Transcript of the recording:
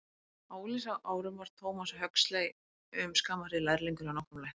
Á unglingsárum var Thomas Huxley um skamma hríð lærlingur hjá nokkrum læknum.